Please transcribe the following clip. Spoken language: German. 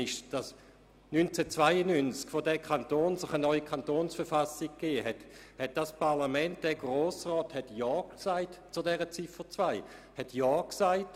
1992, als sich dieser Kanton eine neue Kantonsverfassung gegeben hat, hat dieses Parlament, der Grosse Rat, zum Inhalt von Ziffer 2 Ja gesagt.